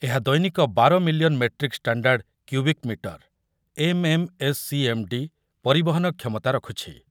ଦୈନିକ ବାର million metric standard cubic metre M M S C M D ପରବହନ କ୍ଷମତା ରଖୁଛି ।